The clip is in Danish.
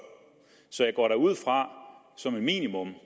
så jeg går da som et minimum